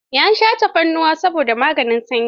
Ya sha tafarnuwa saboda maganin sanyi.